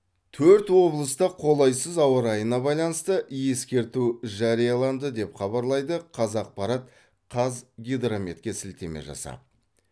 төрт облыста қолайсыз ауа райына байланысты ескерту жарияланды деп хабарлайды қазақпарат қазгидрометке сілтеме жасап